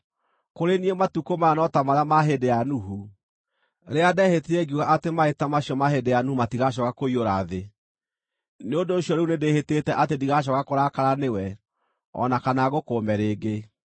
“Kũrĩ niĩ matukũ maya no ta marĩa ma hĩndĩ ya Nuhu, rĩrĩa ndehĩtire ngiuga atĩ maaĩ ta macio ma hĩndĩ ya Nuhu matigacooka kũiyũra thĩ. Nĩ ũndũ ũcio rĩu nĩndĩhĩtĩte atĩ ndigacooka kũrakara nĩwe o na kana ngũkũũme rĩngĩ.